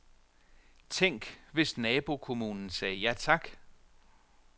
Tænk, hvis nabokommunen sagde ja tak.